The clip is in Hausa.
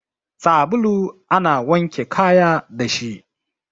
Sabulu ana wanke kaya dashi